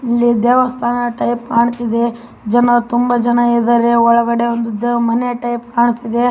ಅಲ್ಲಿ ದೇವಸ್ಥಾನದ ಟೈಪ್ಪ್ ಕಾಣತಿದೆ ಜನ ತುಂಬಾ ಜನರು ಇದ್ಧಾರೆ ಒಳಗಡೆ ಒಂದು ಮನೆ ಟೈಪ್ಪ್ ಕಾಣ್ತಾ ಇದೆ.